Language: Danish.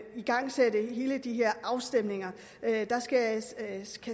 igangsætte alle de her afstemninger der skal